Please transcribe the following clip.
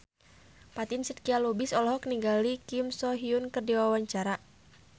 Fatin Shidqia Lubis olohok ningali Kim So Hyun keur diwawancara